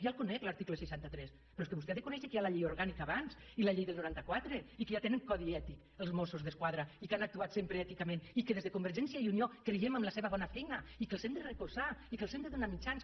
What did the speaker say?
ja el conec l’article seixanta tres però és que vostè ha de conèixer que hi ha la llei orgànica abans i la llei del noranta quatre i que ja tenen codi ètic els mossos d’esquadra i que han actuat sempre èticament i que des de convergència i unió creiem en la seva bona feina i que els hem de recolzar i que els hem de donar mitjans